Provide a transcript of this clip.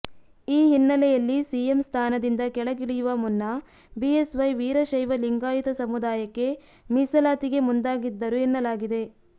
ಈ ಹಿನ್ನೆಲೆಯಲ್ಲಿ ಸಿಎಂ ಸ್ಥಾನದಿಂದ ಕೆಳಗಿಳಿಯುವ ಮುನ್ನ ಬಿಎಸ್ವೈ ವೀರಶೈವ ಲಿಂಗಾಯತ ಸಮುದಾಯಕ್ಕೆ ಮೀಸಲಾತಿಗೆ ಮುಂದಾಗಿದ್ದರು ಎನ್ನಲಾಗಿದೆ